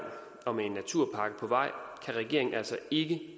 og med en naturpakke på vej kan regeringen altså ikke